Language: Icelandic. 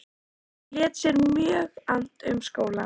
Hann lét sér mjög annt um skólann.